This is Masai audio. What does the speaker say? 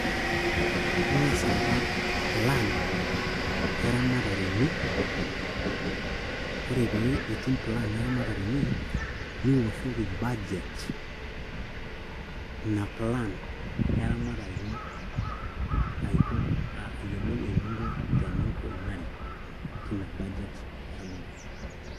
Ing'as aata plan eramatare ino ore ake pee itum plan niwoshoki budget ina plan eramatare ino aiko ayiolou eninko teninkunari tina budget eramatare.